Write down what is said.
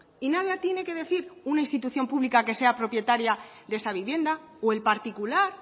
y nada tiene que decir una institución pública que sea propietaria de esa vivienda o el particular